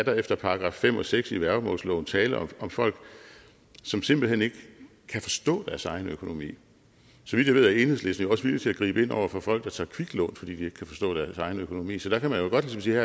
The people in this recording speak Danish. her efter § fem og seks i værgemålsloven er tale om folk som simpelt hen ikke kan forstå deres egen økonomi så vidt jeg ved er enhedslisten jo også villig til at gribe ind over for folk der tager kviklån fordi de ikke kan forstå deres egen økonomi så der kan man jo godt ligesom sige